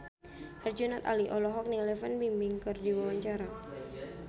Herjunot Ali olohok ningali Fan Bingbing keur diwawancara